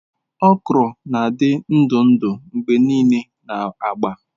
Okra na-adị ndụ ndụ mgbe niile na agba.